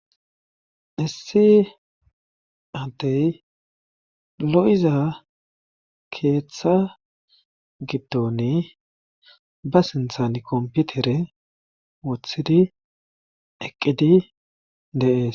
issi atey lo7iza keeththa gidtoni ba sinthani komputere wothidi eqqidi deees